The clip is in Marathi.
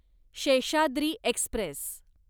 शेषाद्री एक्स्प्रेस